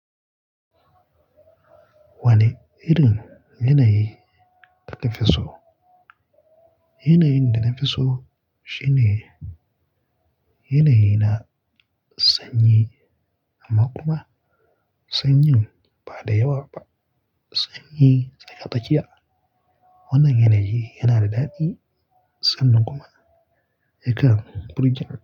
Wane irin yanayi kake so? Yanayin da na fi so shine yanayi na sanyi amma kuma sanyin ba da yawa ba, sanyi tsaka-tsakiya. Wannan yanayi yana da daɗi sannan kuma yakan burge ni.